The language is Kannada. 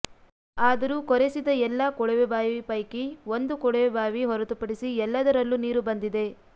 ಆದರೂ ಕೊರೆಸಿದ ಎಲ್ಲ ಕೊಳವೆ ಬಾವಿ ಪೈಕಿ ಒಂದು ಕೊಳವೆ ಬಾವಿ ಹೊರತುಪಡಿಸಿ ಎಲ್ಲದರಲ್ಲೂ ನೀರು ಬಂದಿದೆ